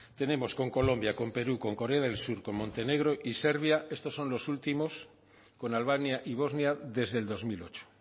tenemos con colombia con perú con corea del sur con montenegro y serbia estos son los últimos con albania y bosnia desde el dos mil ocho